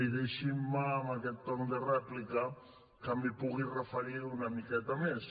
i deixin me en aquest torn de rèplica que m’hi pugui referir una miqueta més